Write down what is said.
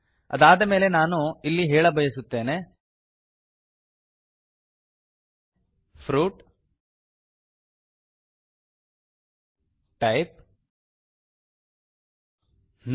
ಅದಾದ ಮೇಲೆ ಇಲ್ಲಿ ನಾನು ಹೇಳಬಯಸುತ್ತೇನೆ ಫ್ರೂಟ್ ಟೈಪ್ ನೋ